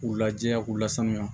K'u lajɛ k'u lasanuya